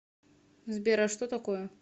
сбер а что такое